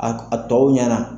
A a tɔw ɲɛna.